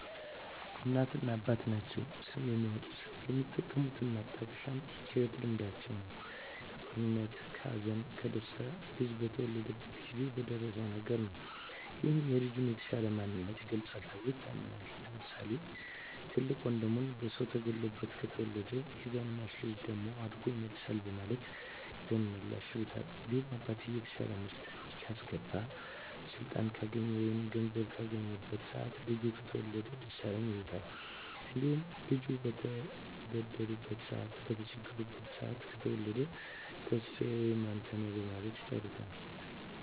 እናትና አባት ናቸዉ ስም የሚያወጡት። የሚጠቀሙት ማጣቀሻም ከህይወት ልምዳቸዉ ነዉ(ከጦርነት ከሀዘን ከደስታ ልጁ በተወለደበት ጊዜ በደረሰዉ ነገር) ነዉ ይህም የልጁን የተሻለ ማንነት ይገልፃል ተብሎም ይታመናል። ለምሳሌ፦ ትልቅ ወንድሙ በሰዉ ተገሎበት ከተወለደ ያዛን ሟች ልጅ ደም አድጎ ይመልሳል በማለት ደመላሽ ይሉታል። እንዲሁም አባትየዉ የተሻለ ምርት ካስገባ ስልጣን ካገኘ ወይም ገንዘብ ካገኘበት ሰአት ልጁ ከተወለደ ደሳለኝ ይሉታል። እንዲሁም ልጁ በተበደሉበት ሰአት በተቸገሩበት ሰአት ከተወለደ ተስፋየ ወይም አንተነህ በማለት ይጠሩታል።